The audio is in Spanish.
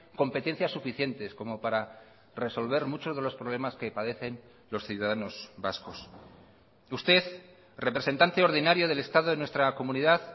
competencias suficientes como para resolver muchos de los problemas que padecen los ciudadanos vascos usted representante ordinario del estado en nuestra comunidad